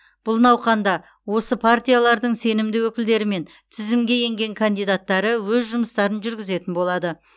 бұл науқанда осы партиялардың сенімді өкілдері мен тізімге енген кандидаттары өз жұмыстарын жүргізетін болады